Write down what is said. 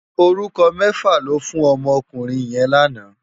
Órúkò mèfá lò fú n òmò òkúrin yèn làná